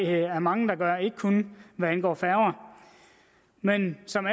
jeg der er mange der gør ikke kun hvad angår færger men som